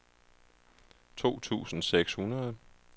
to tusind seks hundrede